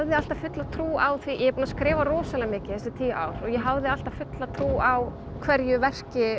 alltaf fulla trú á því er búin að skrifa rosalega mikið þessi tíu ár og ég hafði alltaf fulla trú á hverju verki